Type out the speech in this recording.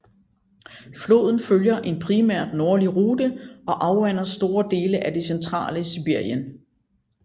Floden følger en primært nordlig rute og afvander store dele af det centrale Sibirien